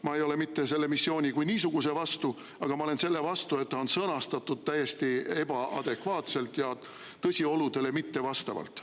Ma ei ole mitte selle missiooni kui niisuguse vastu, aga ma olen selle vastu, et see on sõnastatud täiesti ebaadekvaatselt ja tõsioludele mittevastavalt.